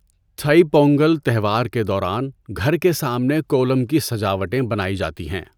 تھئی پونگل تہوار کے دوران گھر کے سامنے کولم کی سجاوٹیں بنائی جاتی ہے۔